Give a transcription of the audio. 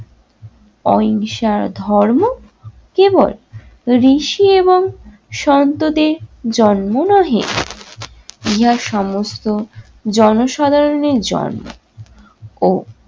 অহিংসা ধর্ম কেবল ঋষি এবং সন্তদের জন্ম নহে ইহা সমস্ত জনসাধারণের জন্য ও